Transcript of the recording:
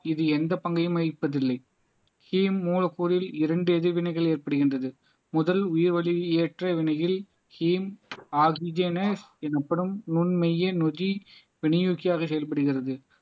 இது எந்த பங்கையும் வகிப்பதில்லை ஹீம் மூலக்கூறில் இரண்டு எதிர்வினைகள் ஏற்படுகின்றது முதல் உயிர் வலி ஏற்ற வினையில் ஹீம் ஆக்ஸிஜன் எனப்படும் நுண் மைய நொதி செயல்படுகிறது